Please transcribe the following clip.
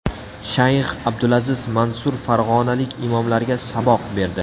Shayx Abdulaziz Mansur farg‘onalik imomlarga saboq berdi.